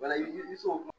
Walahi ni so ma